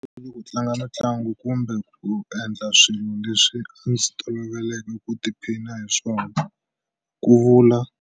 Ku tlanga mitlangu kumbe ku endla swilo leswi a ndzi tolovele ku tiphina hi swona, ku vula